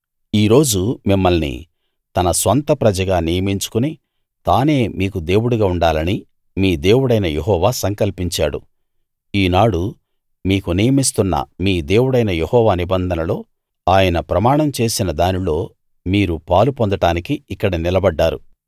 ఈ రోజు మిమ్మల్ని తన స్వంత ప్రజగా నియమించుకుని తానే మీకు దేవుడుగా ఉండాలని మీ దేవుడైన యెహోవా సంకల్పించాడు ఈనాడు మీకు నియమిస్తున్న మీ దేవుడైన యెహోవా నిబంధనలో ఆయన ప్రమాణం చేసిన దానిలో మీరు పాలు పొందడానికి ఇక్కడ నిలబడ్డారు